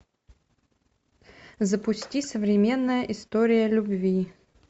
запусти современная история любви